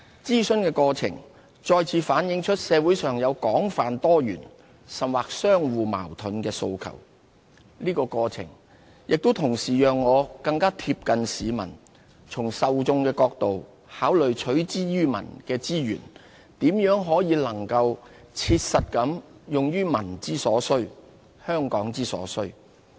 諮詢的過程再次反映出社會上有廣泛多元，甚或相互矛盾的訴求，同時也讓我更貼近市民，從受眾的角度考慮取之於民的資源，如何能切實地用於民之所需、香港之所需。